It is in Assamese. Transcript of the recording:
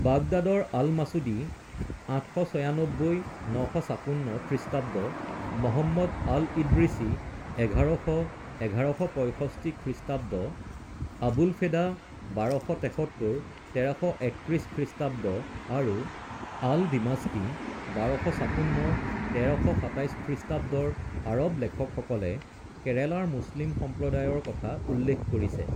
বাগদাদৰ আল-মাচুদি, ৮৯৬-৯৫৬ খ্ৰীষ্টাব্দ, মহম্মদ আল-ইদ্ৰিচি, ১১০০-১১৬৫ খ্ৰীষ্টাব্দ, আবুলফেদা, ১২৭৩-১৩৩১ খ্ৰীষ্টাব্দ, আৰু আল-ডিমাশ্বকি, ১২৫৬-১৩২৭ খ্ৰীষ্টাব্দৰ আৰৱ লেখকসকলে কেৰালাৰ মুছলিম সম্প্ৰদায়ৰ কথা উল্লেখ কৰিছে।